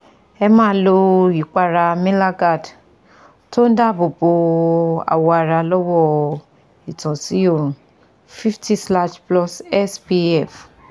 Ẹ máa lo ìpara melagard tó ń dààbòbo awọ ara lọ́wọ́ ìtànsí òòrùn fifty slash plus spf